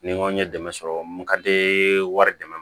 Ni n ko n ye dɛmɛ sɔrɔ n ka di wari dɛmɛ